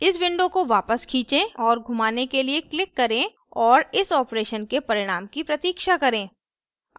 इस window को वापस खींचें और घुमाने के लिए click करें और इस operation के परिणाम की प्रतीक्षा करें